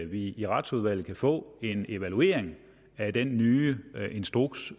vi i retsudvalget kan få en evaluering af den nye instruks